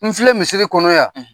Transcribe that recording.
N filɛ misiri kɔnɔ yan;